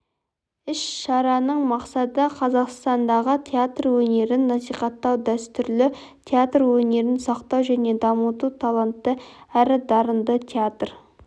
іс-шараның мақсаты қазақстандағы театр өнерін насихаттау дәстүрлі театр өнерін сақтау және дамыту талантты әрі дарынды театр